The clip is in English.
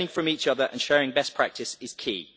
Learning from each other and sharing best practice is key.